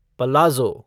palazzo